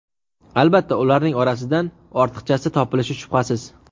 Albatta, ularning orasidan ortiqchasi topilishi shubhasiz.